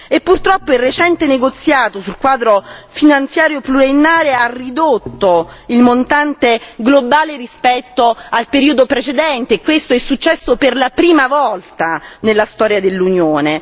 E purtroppo il recente negoziato sul Quadro finanziario pluriennale ha ridotto il montante globale rispetto al periodo precedente, e questo è successo per la prima volta nella storia dell'Unione.